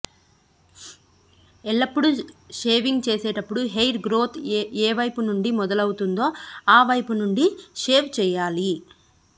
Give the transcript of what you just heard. ఎల్లప్పుడు షేవింగ్ చేసేటప్పుడు hair growth ఏవైపు నుండి మొదలవుతుందో ఆ వైపునుండి షేవ్ చేయాలి